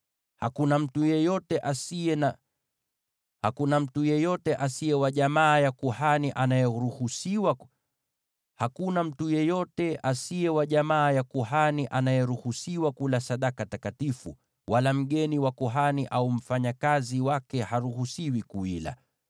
“ ‘Hakuna mtu yeyote asiye wa jamaa ya kuhani anayeruhusiwa kula sadaka takatifu, hata mgeni wa kuhani au mfanyakazi wake haruhusiwi kuila.